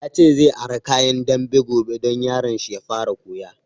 Ya ce zai ara kayan dambe gobe don yaron shi ya fara koya